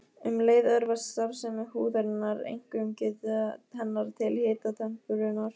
Um leið örvast starfsemi húðarinnar, einkum geta hennar til hitatemprunar.